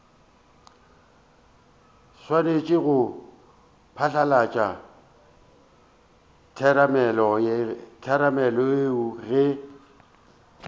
swanetše go phatlalatša theramelao ge